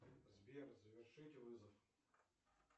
сбер завершить вызов